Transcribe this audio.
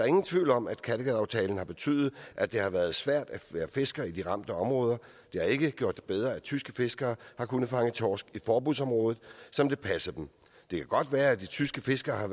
ingen tvivl om at kattegataftalen har betydet at det har været svært at være fisker i de ramte områder det har ikke gjort bedre at tyske fiskere har kunnet fange torsk i forbudsområdet som det passede dem det kan godt være at de tyske fiskere har